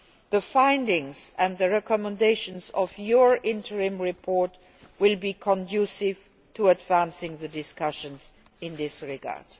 The findings and the recommendations of your interim report will be conducive to advancing the discussions in this regard.